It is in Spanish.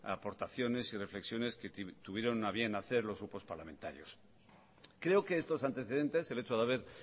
aportaciones y reflexiones que tuvieron a bien hacer los grupos parlamentarios creo que estos antecedentes el hecho de haber